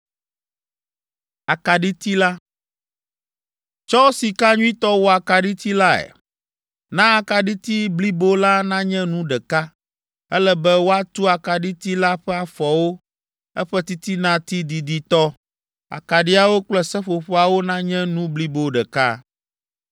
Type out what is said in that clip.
“Tsɔ sika nyuitɔ wɔ akaɖiti lae. Na akaɖiti blibo la nanye nu ɖeka; ele be woatu akaɖiti la ƒe afɔwo, eƒe titinati diditɔ, akaɖiawo kple seƒoƒoawo nanye nu blibo ɖeka.